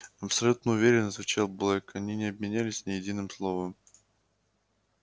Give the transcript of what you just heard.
абсолютно уверен отвечал блэк они не обменялись ни единым словом